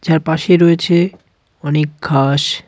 যার পাশেই রয়েছে অনেক ঘাস.